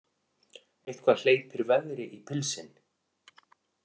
Eitthvað hleypir veðri í pilsin